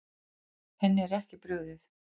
Henni er ekki brugðið.